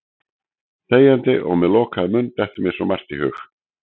Þegjandi og með lokaðan munn dettur mér svo margt í hug.